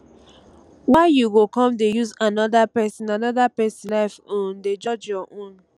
why you go come dey use anoda pesin anoda pesin life um dey judge your own